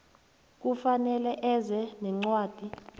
kufanele eze nencwadi